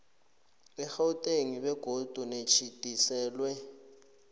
egauteng begodu nelitjhidiselwe